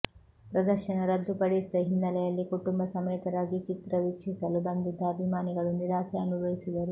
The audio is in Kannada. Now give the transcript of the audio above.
ಪ್ರದರ್ಶನ ರದ್ದು ಪಡಿಸಿದ ಹಿನ್ನೆಲೆಯಲ್ಲಿ ಕುಟುಂಬ ಸಮೇತರಾಗಿ ಚಿತ್ರ ವಿಕ್ಷೀಸಲು ಬಂದಿದ್ದ ಅಭಿಮಾನಿಗಳು ನಿರಾಸೆ ಅನುಭವಿಸಿದರು